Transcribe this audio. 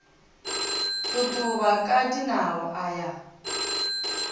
totoba ka dinao a ya